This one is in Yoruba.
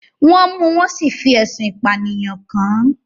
Wọ́n mú un, wọ́n sì fẹ̀sùn ìpànìyàn kàn án